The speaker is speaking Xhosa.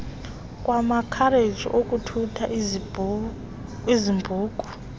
kwamakhareji ukuthutha izambuku